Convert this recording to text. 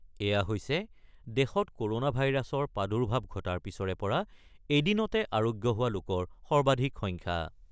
এয়া হৈছে দেশত ক'ৰণা ভাইৰাছৰ প্ৰাদুৰ্ভাৱ ঘটাৰ পিছৰে পৰা এদিনতে আৰোগ্য হোৱাৰ লোকৰ সৰ্বাধিক সংখ্যা।